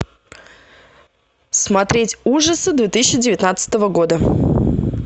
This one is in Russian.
смотреть ужасы две тысячи девятнадцатого года